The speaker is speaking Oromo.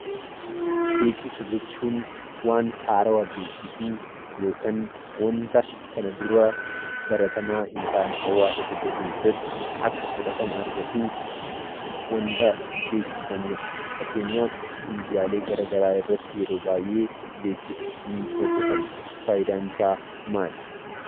Beeksisa jechuun waan haarawaa beeksisuu yookiin waanta kana dura baratamaa hin taane hawaasa tokko keessatti akka fudhatama argatuuf waanta beeksifamuudha. Fakkeenyaaf miidiyaalee garaagaraa irratti yeroo baayyee beeksisni ni hojjetama. Fayidaan isaa maali?